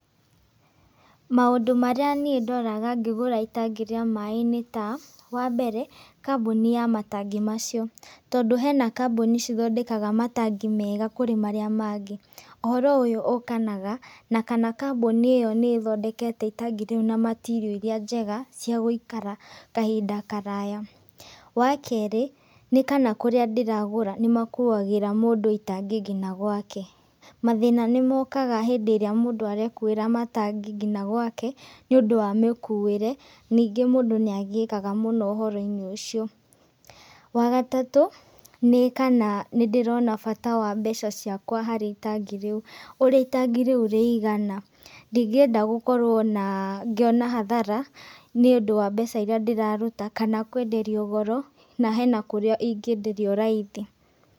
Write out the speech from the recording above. Maũndũ marĩa niĩ ndoraga ngĩgũra itangi rĩa maaĩ nĩ ta, wa mbere, kambuni ya matangi macio, tondũ hena kambuni cithondekaga matangi mega kũrĩ marĩa mangĩ. Ũhoro ũyũ ũkanaga na kana kambuni ĩyo nĩ ĩthondekete itangi rĩu na material iria njega cia gũikara kahinda karaya. Wa kerĩ, nĩ kana kũrĩa ndĩragũra nĩ makuagĩra mũndũ itangi ngina gwake, mathĩna nĩ mokaga hĩndĩ ĩrĩa mũndũ arekuĩra matangi ngina gwake nĩ ũndũ wa mĩkuĩre, ningĩ mũndũ nĩ agiĩkaga mũno ũhoro-inĩ ũcio. Wa gatatũ, nĩ kana nĩ ndĩrona bata wa mbeca ciakwa harĩ itangi rĩu, ũrĩa itangi rĩu rĩigana, ndingĩenda gũkorwo ngĩona hathara nĩ ũndũ wa mbeca iria ndĩraruta kana kũenderio goro, na hena kũrĩa ingĩenderio raithi.